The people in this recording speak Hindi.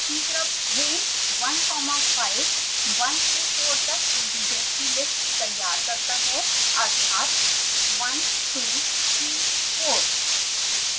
3 range1 5 1 से 4 तक इंटिजर्स की लिस्ट तैयार करता है अर्थात 1234